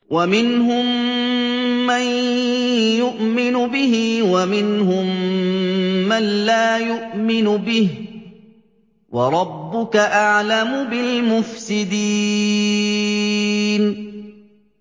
وَمِنْهُم مَّن يُؤْمِنُ بِهِ وَمِنْهُم مَّن لَّا يُؤْمِنُ بِهِ ۚ وَرَبُّكَ أَعْلَمُ بِالْمُفْسِدِينَ